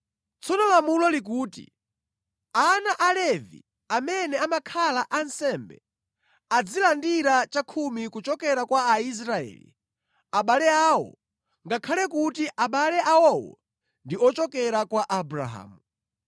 Tsono lamulo likuti, ana a Levi amene amakhala ansembe azilandira chakhumi kuchokera kwa Aisraeli, abale awo ngakhale kuti abale awowo ndi ochokera kwa Abrahamu.